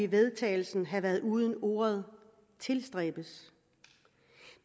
vedtagelse havde været uden ordet tilstræbes